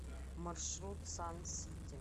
маршрут сан сити